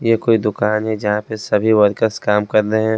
ये कोई दुकान है जहां पे सभी वर्कर्स काम कर रहे हैं।